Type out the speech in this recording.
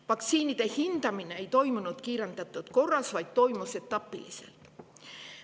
Vaktsiinide hindamine ei toimunud kiirendatud korras, vaid toimus etapiliselt.